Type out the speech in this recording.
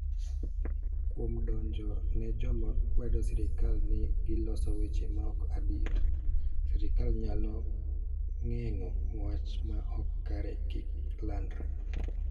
Kuom donjo ne joma kwedo sirkal ni giloso weche maok adier, sirkal nyalo geng'o wach ma ok kare kik landre.